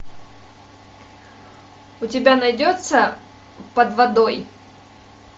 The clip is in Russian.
у тебя найдется под водой